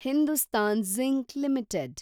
Hindustan Zinc limited